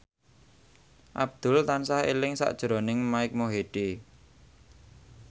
Abdul tansah eling sakjroning Mike Mohede